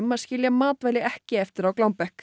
að skilja matvæli ekki eftir á glámbekk